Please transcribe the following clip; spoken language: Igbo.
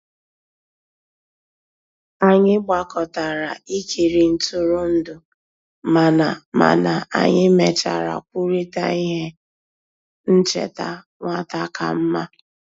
Anyị gbàkọtàrà ìkìrì ntụrụndụ, mànà mànà anyị mèchàrà kwùrịtà íhè nchèta nwata kàmmà.